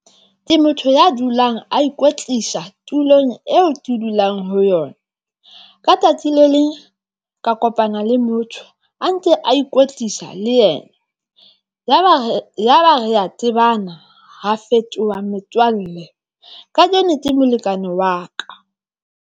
Ke motho ya dulang a ikwetlisa tulong eo ke dulang ho yona. Ka tsatsi le leng ka kopana le motho a ntse a ikwetlisa le yena. Yaba re ya tsebana ra fetoha metswalle kajeno ke molekane wa ka.